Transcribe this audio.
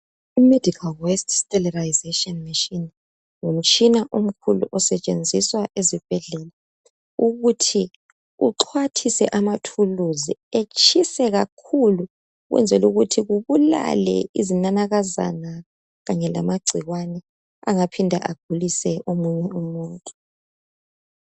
I medical west sterilisation machine ngumtshina omkhulu osetshenziswa ezibhedlela ukuthi uxhwathise amathuluzi etshise kakhulu ukwenzela ukuthi kubulale izinanakazana kanye lamagcikwane angaphinda agulise omunye umuntu.